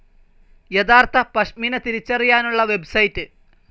യഥാർത്ഥ പഷ്മിന തിരിച്ചറിയാനുള്ള വെബ്സൈറ്റ്‌